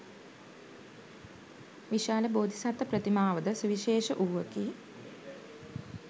විශාල බෝධිසත්ව ප්‍රතිමාවද සුවිශේෂ වූවකි.